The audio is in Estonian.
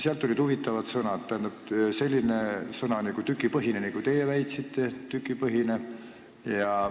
Te kasutasite sellist huvitavat sõna nagu "tükipõhine".